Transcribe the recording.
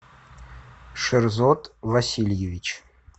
шерзот васильевич